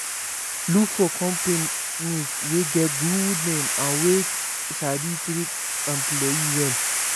Look for companies wey get good name and wey sabi treat employee well